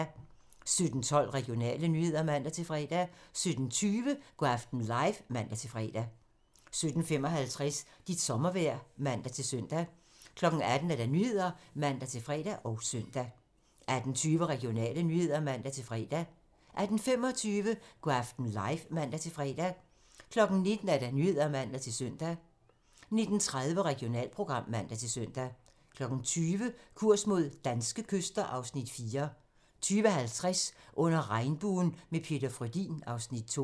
17:12: Regionale nyheder (man-fre) 17:20: Go' aften live (man-fre) 17:55: Dit sommervejr (man-søn) 18:00: Nyhederne (man-fre og søn) 18:20: Regionale nyheder (man-fre) 18:25: Go' aften live (man-fre) 19:00: Nyhederne (man-søn) 19:30: Regionalprogram (man-søn) 20:00: Kurs mod danske kyster (Afs. 4) 20:50: Under regnbuen - med Peter Frödin (Afs. 2)